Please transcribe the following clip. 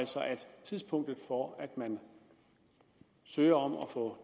tidspunktet for at man søger om at få